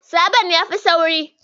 Saboda yafi sauri.